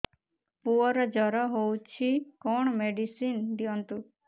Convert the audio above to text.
ପୁଅର ଜର ହଉଛି କଣ ମେଡିସିନ ଦିଅନ୍ତୁ